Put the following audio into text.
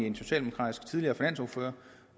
den socialdemokratiske tidligere finansordfører